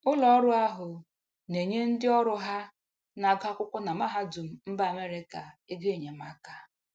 Ụlọọrụ ahụ na-enye ndịọrụ ha na-agụ akwụkwọ na mahadum mba Amerika egoenyemaka.